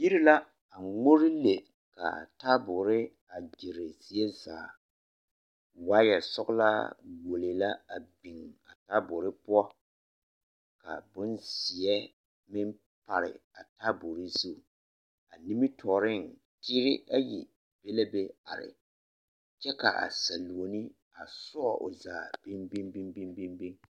Yiri la a ŋmore le kw taaboori ɡyere zie zaa waayɛsɔɡelaa ɡuolee la biŋ a taaboori poɔ ka bonzeɛ meŋ pare a taaboori zu a nimitɔɔreŋ die ayi be la be are kyɛ ka a saluoni sɔɔ o zaa biŋbiŋbiŋ.